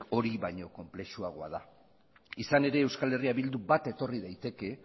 hori baina konplexuagoa da izan ere euskal herria bildu bat etorri daiteke